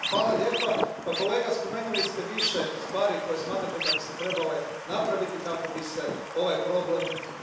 Kolega, spomenuli ste više stvari koje smatrate da bi se trebale napraviti kako bi se ovaj problem riješio.